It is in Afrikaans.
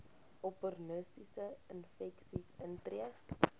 opportunistiese infeksies intree